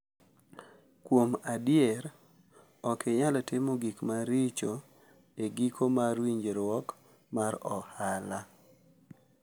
Kuom adier, ok inyal timo gik maricho e giko mar winjruok mar ohala .